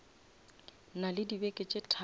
na le dibeke tše tharo